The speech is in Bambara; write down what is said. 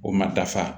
O ma dafa